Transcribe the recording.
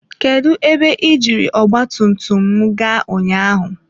Kedụ ebe ị jiri ọgba tum tum m gaa ụnyaahụ?